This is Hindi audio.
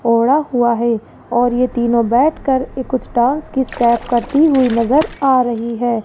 ओढ़ा हुआ है और ये तीनों बैठ कर ये कुछ डांस की स्टेप करती हुई नजर आ रही है।